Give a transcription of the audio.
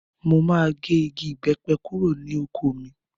Mo máa bẹ́ igi ìbépẹ kúrò ní oko mi.